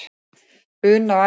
Una og Æsa.